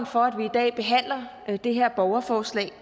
for at vi i dag behandler det her borgerforslag